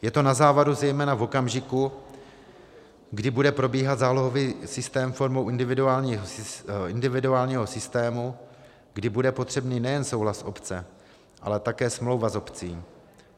Je to na závadu zejména v okamžiku, kdy bude probíhat zálohový systém formou individuálního systému, kdy bude potřebný nejen souhlas obce, ale také smlouva s obcí.